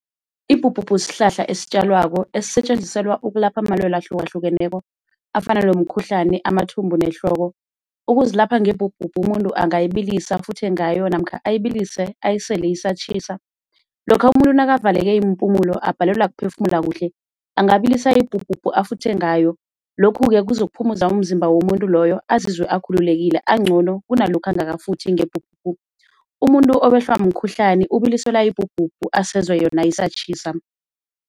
Ibhubhubhu sihlahla esitjalwako esisetjenziselwa ukulapha amalwele ahlukahlukeneko afana nomkhuhlani, amathumbu nehloko. Ukuzilapha ngebhubhubhu umuntu angayibilisa afuthe ngayo namkha ayibilise ayisele isatjhisa. Lokha umuntu nakaveleke iimpumulo abhalelwa kuphefumula kuhle angabilisa ibhubhubhu afuthe ngayo, lokhu-ke kuzokuphumuza umzimba womuntu loyo azizwe akhululekile ancono kunalokha angakafuthi ngebhubhubhu. Umuntu owehlwa mkhuhlani ubiliselwa ibhubhubhu asezwe yona isatjhisa.